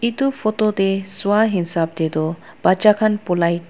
etu photo sua hisab te tu batchaa khan polai.